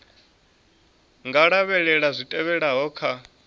nga lavhelela zwi tevhelaho kha